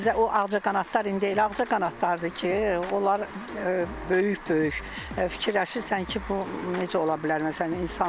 Özü də o ağcaqanadlar indi elə ağcaqanadlardır ki, onlar böyük-böyük fikirləşirsən ki, bu necə ola bilər, məsələn, insandır.